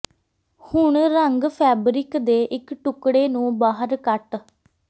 ਹੁਣ ਰੰਗ ਫੈਬਰਿਕ ਦੇ ਇੱਕ ਟੁਕੜੇ ਨੂੰ ਬਾਹਰ ਕੱਟ